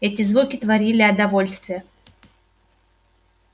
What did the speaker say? эти звуки творили о довольстве